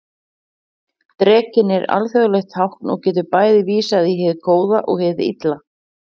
Drekinn er alþjóðlegt tákn og getur bæði vísað í hið góða og hið illa.